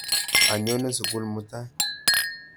Anyone sukul mutai.